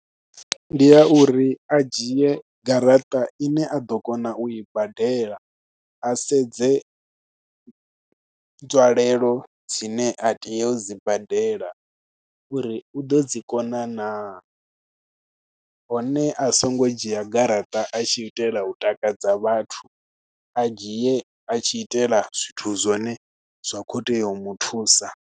Ndi ya uri a dzhie garaṱa ine a ḓo kona u i badela, a sedze nzwalelo dzine a tea u dzi badela, uri u ḓo dzi kona naa. Hone a songo dzhia garaṱa a tshi itela takadza vhathu, a dzhie a tshi itela zwithu zwone zwa khou tea u muthusa.